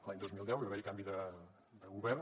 l’any dos mil deu hi va haver canvi de govern